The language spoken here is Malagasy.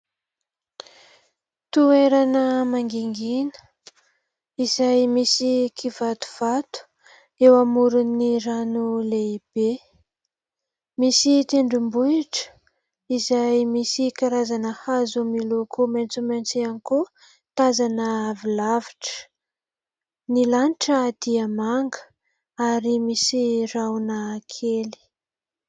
Toerana mangingina, izay misy kivatovato, eo amoron'ny rano lehibe. Misy tendrombohitra, izay misy karazana hazo miloko maitso maitso hiany koa, tazana avy lavitra. Ny lanitra dia manga, ary misy rahona kely.